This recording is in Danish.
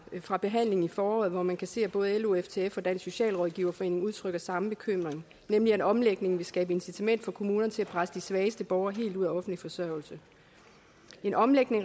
fra behandlingen i foråret hvori man kan se at både lo og ftf og dansk socialrådgiverforening udtrykker samme bekymring nemlig at en omlægning vil skabe incitament for kommunerne til at presse de svageste borgere helt ud af offentlig forsørgelse en omlægning